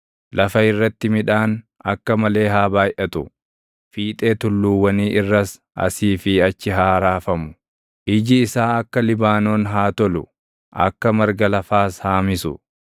Lafa irratti midhaan akka malee haa baayʼatu; fiixee tulluuwwanii irras asii fi achi haa raafamu. Iji isaa akka Libaanoon haa tolu; akka marga lafaas haa misu.